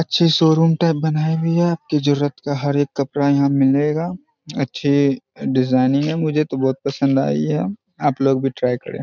अच्छी showroom type बनाई हुई है। आपकी जरूरत का हर एक कपड़ा यहाँ मिलेगा। अच्छी डिजाइनिंग है मुझे तो बहुत पसंद आइ है। आप लोग भी टॉय करें।